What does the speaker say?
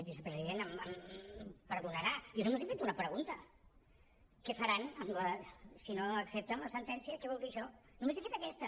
vicepresident m’haurà de perdonar jo només he fet una pregunta què faran si no accepten la sentència què vol dir això només he fet aquesta